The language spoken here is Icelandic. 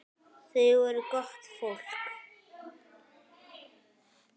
Þau voru gott fólk.